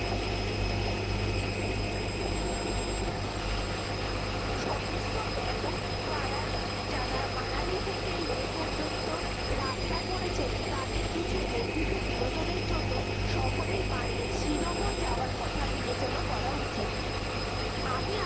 সমস্ত ব্যাপক যারা মানালি থেকে লে পর্যন্ত রাস্তা করেছেন তাদের কিছু বর্ধিত বিনোদনের জন্য শহরের বাইরে শ্রীনগর যাওয়ার কথা বিবেচনা করা উচিত । আমি